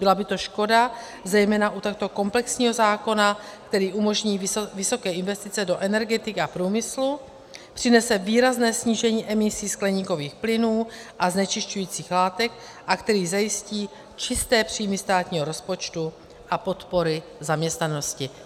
Byla by to škoda zejména u takto komplexního zákona, který umožní vysoké investice do energetiky a průmyslu, přinese výrazné snížení emisí skleníkových plynů a znečišťujících látek a který zajistí čisté příjmy státního rozpočtu a podporu zaměstnanosti.